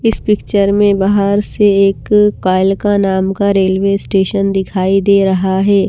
इस पिक्चर में बहार से एक कायल नाम का रेलवे स्टेशन दिखाइ दे रहा है।